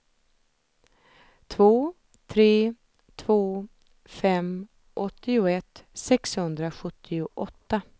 två tre två fem åttioett sexhundrasjuttioåtta